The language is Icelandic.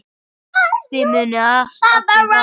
Þið munuð allir farast.